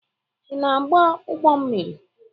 Ị na-agba ụgbọ mmiri?